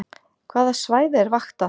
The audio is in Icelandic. Hvaða svæði er vaktað